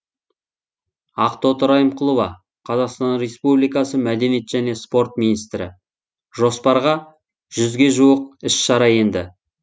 ақтоты райымқұлова қазақстан республикасы мәдениет және спорт министрі жоспарға жүзге жуық іс шара енді